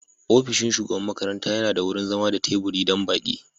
Ofishin shugaban makarantar yana da wurin zama da teburi don baƙi.